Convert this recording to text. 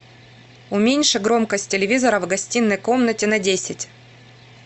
уменьши громкость телевизора в гостиной комнате на десять